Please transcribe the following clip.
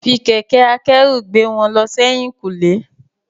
Fi kẹ̀kẹ́ akẹ́rù gbé wọn lọ sẹ́yìn kùlé.